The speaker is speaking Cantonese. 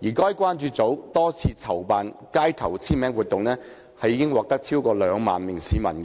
該關注組多次籌辦街頭簽名活動，並獲逾兩萬名市民